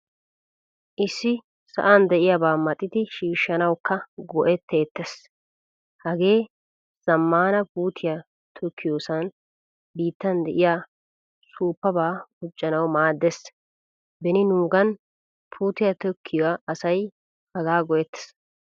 Issi sa'an de'iyaba maxidi shiishanawukaa go'ettettees. Hagee zamaana puutiyaa tokkiyosan biittaan de'iya suppaba quccanawu maaddees. Beni nuugan puutiyaa tokkiyaa asay haagaa go'ettees.